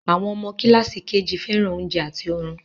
Àwọn ọmọ kíláàsì KG fẹ́ràn oúnjẹ àti orun